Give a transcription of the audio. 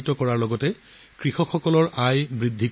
ইয়াৰ বাবে এই কৃষকসকলৰ উপাৰ্জনো বহুত বৃদ্ধি পাইছে